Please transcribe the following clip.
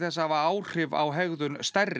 að hafa áhrif á hegðun stærri